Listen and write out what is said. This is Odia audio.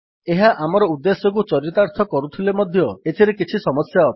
ଏହା ଆମର ଉଦ୍ଦେଶ୍ୟକୁ ଚରିତାର୍ଥ କରୁଥିଲେ ମଧ୍ୟ ଏଥିରେ କିଛି ସମସ୍ୟା ଅଛି